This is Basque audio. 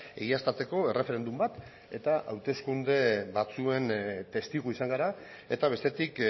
egiaztatzeko erreferendum bat eta hauteskunde batzuen testigu izan gara eta bestetik